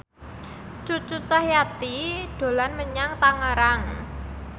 Cucu Cahyati dolan menyang Tangerang